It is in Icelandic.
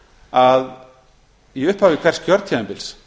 að í upphafi hvers kjörtímabils